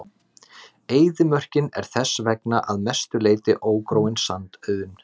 Eyðimörkin er þess vegna að mestu leyti ógróin sandauðn.